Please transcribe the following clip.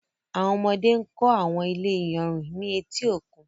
Àwọn ọmọdé ń kọ́ àwọn ilé iyanrìn ní etí òkun.